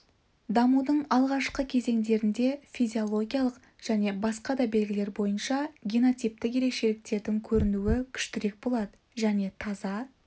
дамудың алғашқы кезеңдерінде физиологиялық және басқа да белгілер бойынша генотиптік ерекшеліктердің көрінуі күштірек болады және таза